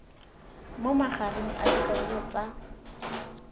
mo magareng a dikarolo tsa